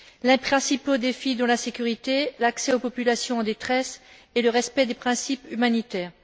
Les principaux défis sont la sécurité, l'accès aux populations en détresse et le respect des principes humanitaires.